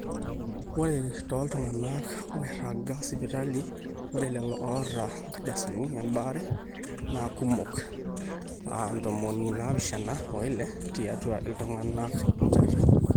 ore tooltung'anak oiraga sipitali ore lelo oota inkardasini ebaare naa kumok aa ntomoni naapishana oile tiatua iltung'anak enjata